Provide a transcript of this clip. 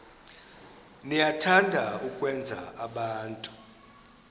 niyathanda ukwenza abantu